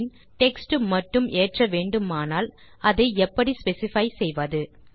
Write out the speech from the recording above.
இன் text மட்டும் ஏற்ற வேண்டுமானால் அதை எப்படி ஸ்பெசிஃபை செய்வது